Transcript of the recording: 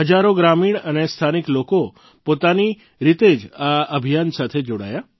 હજારો ગ્રામીણ અને સ્થાનિક લોકો પોતાની રીતે જ આ અભિયાન સાથે જોડાયા